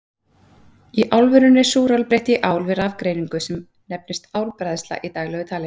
Í álverinu er súrál breytt í ál við rafgreiningu, sem nefnist álbræðsla í daglegu tali.